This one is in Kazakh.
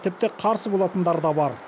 тіпті қарсы болатындары да бар